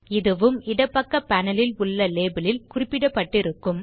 இதுவும்இடப்பக்க panel ல் உள்ள label ல் குறிப்பிடப்பட்டிருக்கும்